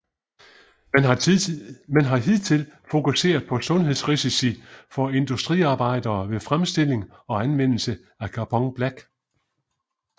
Man har hidtil fokuseret på sundhedsrisici for industriarbejdere ved fremstilling og anvendelse af Carbon black